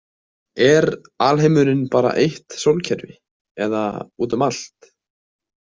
Er alheimurinn bara eitt sólkerfi eða út um allt?